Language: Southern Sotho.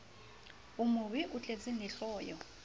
o mobe o tletseng lehloyo